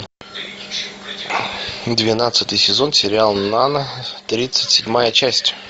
двенадцатый сезон сериал нана тридцать седьмая часть